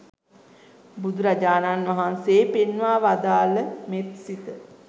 බුදුරජාණන් වහන්සේ පෙන්වා වදාළ මෙත්සිත